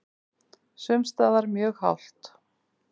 Sums staðar mjög hált